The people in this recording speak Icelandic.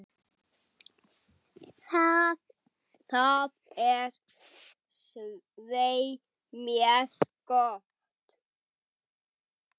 Það er svei mér gott.